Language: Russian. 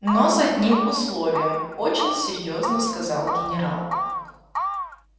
но с одним условием очень серьёзно сказал генерал